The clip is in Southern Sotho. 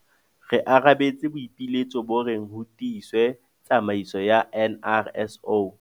Re arabetse boipiletso bo reng ho tiiswe tsamaiso ya NRSO.